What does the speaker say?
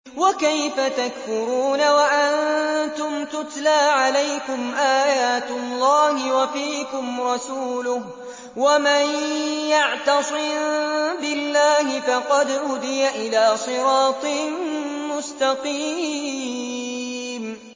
وَكَيْفَ تَكْفُرُونَ وَأَنتُمْ تُتْلَىٰ عَلَيْكُمْ آيَاتُ اللَّهِ وَفِيكُمْ رَسُولُهُ ۗ وَمَن يَعْتَصِم بِاللَّهِ فَقَدْ هُدِيَ إِلَىٰ صِرَاطٍ مُّسْتَقِيمٍ